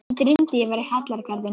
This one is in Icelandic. Mig dreymdi ég var í hallargarðinum.